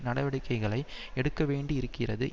நடவடிக்கைகளை எடுக்கவேண்டியிருக்கிறது